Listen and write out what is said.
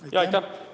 Aitäh!